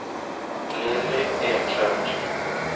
Lilly Eklund